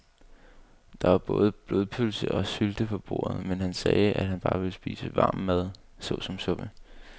Der var både blodpølse og sylte på bordet, men han sagde, at han bare ville spise varm mad såsom suppe.